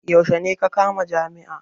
Yaushe ne ka kamma jami'a?